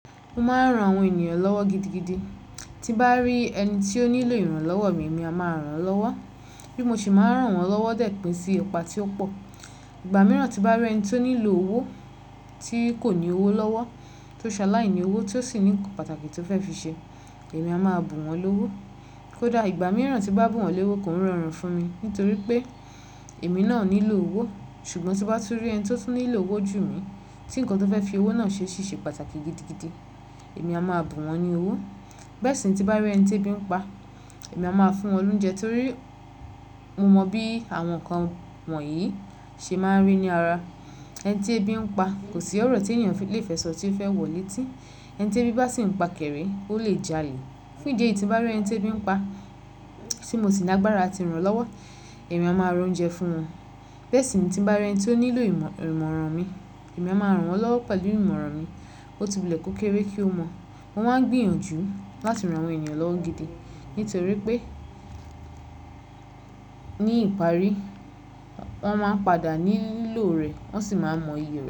Mo máa ń ran àwọn ènìyàn lọ́wọ́ gidigidi. Tí bá rí ẹni tí ó nílò ìrànlọ́wọ́ mi, èmi a máa ràn án lọ́wọ́. Bí mo ṣe máa ń ràn wọ́n lọ́wọ́ dẹ̀ pín sí ẹ̀pà tí ó pọ̀. Ìgbà mìíràn tí bá rí ẹni tó nílò owó, tí kò ní owó lọ́wọ́, tó ṣaláì ni owó tí ó sì ní nǹkan pàtàkì tó fẹ́ fi ṣe, èmi a máa bù wọ́n lówó. Kódà ìgbà mìíràn tí bá bù wọn lówó, kò ń rọrùn fún mi nítorí pé èmi náà nílò owó. Ṣùgbọ́n tí bá tú rí ẹni tí ó tú nílò owó jù mí, tí nǹkan tó fẹ́ fi owó náà ṣe sì ṣe pàtàkì gidigidi, èmi a máa bù wọ́n ní owó. Bẹ́ẹ̀ sì ni tí bá rí ẹni tí ẹbí ń pa, èmi a máa fún wọn ní oúnjẹ torí mo mọ bí àwọn nǹkan wọ̀nyí ṣe máa ń rí ní ara. Ẹni tí ẹbí ń pa, kò sí ọ̀rọ̀ tí ènìyàn lè fẹ sọ tí fẹ́ wọlé tí ẹni tí ẹbí bá sì ń pakẹ̀rẹ̀, ó lè jalè. Fún idi eyi tí bá rí ẹni tí ẹbí ń pa tí mo sì ní agbára ti ràn án lọ́wọ́, èmi a máa ra oúnjẹ fún wọn. Bẹ́ẹ̀ sì ni tí bá rí ẹni tó nílò ìmọ̀ràn mi, èmi a máa ràn wọ́n lọ́wọ́ pẹ̀lú ìmọ̀ràn mi. Ó tì wule kó kéré kí ó mọ̀. Mo máa ń gbìyànjú láti ran àwọn ènìyàn lọ́wọ́ gidi nítorí pé ní ìparí, wọ́n máa ń padà ní lo rẹ̀, wọ́n sì máa mọ iye rẹ̀.